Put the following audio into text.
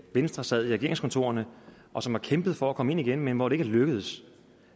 venstre sad i regeringskontorerne og som har kæmpet for at komme ind igen men hvor det ikke er lykkedes